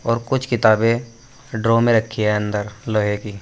और कुछ किताबें ड्रॉर में रखी है अंदर लोहे की--